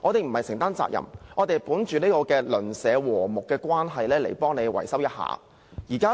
這樣做並非承擔責任，而是本着睦鄰精神進行維修。